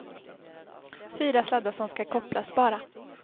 Fyra sladdar som ska kopplas bara.